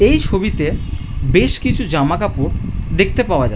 এই ছবিতে বেশ কিছু জামাকাপড় দেখতে পাওয়া যায়।